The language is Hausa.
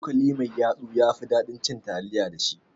Cokali mai yatsu yafi ɗaɗin cin taliya da shi